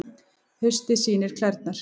Haustið sýnir klærnar